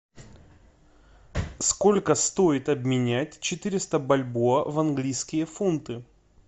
сколько стоит обменять четыреста бальбоа в английские фунты